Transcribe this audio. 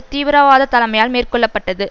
தீவிரவாத தலைமையால் மேற்கொள்ள பட்டது